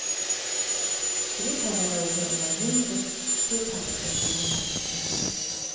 I det fallet rör det sig om en ny returpappersbaserad pappersmaskin.